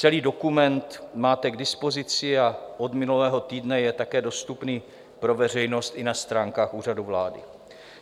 Celý dokument máte k dispozici a od minulého týdne je také dostupný pro veřejnost i na stránkách Úřadu vlády.